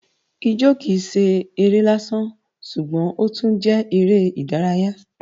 Ijó kìí ṣe eré lásán ṣùgbọ́n ó tún jẹ́ eré ìdárayá